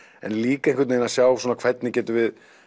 en líka einhvern veginn að sjá svona hvernig getum við